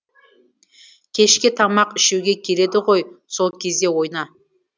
кешке тамақ ішуге келеді ғой сол кезде ойна